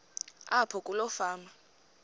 apho kuloo fama